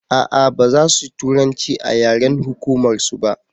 a'a baza su turanci a yaren hukumar su ba